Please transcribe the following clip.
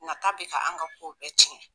Nata be ka an ka ko bɛɛ cɛn